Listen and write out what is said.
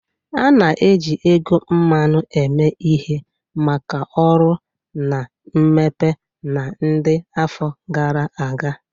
A na-eji ego mmanụ eme ihe maka ọrụ na mmepe na ndi afọ gara aga.